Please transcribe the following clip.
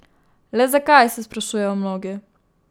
Le zakaj, se sprašujejo mnogi.